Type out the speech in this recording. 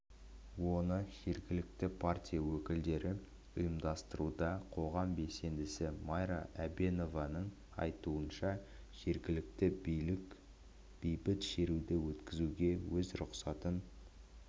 оны жергілікті партия өкілдері ұйымдастыруда қоғам белсендісі майра әбеновның айтуынша жергілікті билік бейбіт шеруді өткізуге өз рұқсатын